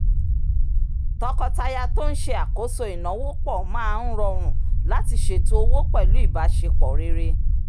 tọkọtaya tó n ṣe àkóso ináwó pọ̀ máa ń rọrùn láti ṣètò owó pẹ̀lú ìbáṣepọ̀ rere